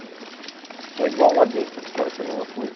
O senhor é igual lá dentro, aqui fora sou a mesma coisa.